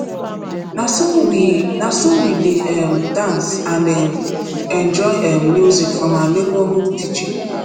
na so we na so we dey um dance and um enjoy um music from our neighborhood dj